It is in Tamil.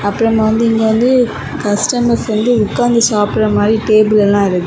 அப்புறமா வந்து இங்க வந்து கஸ்டமர்ஸ் வந்து உட்கார்ந்து சாப்பிடற மாதிரி டேபிள் எல்லாம் இருக்குது.